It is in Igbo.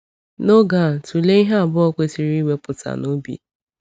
N’oge a, tụlee ihe abụọ anyị kwesịrị iwepụta n’obi.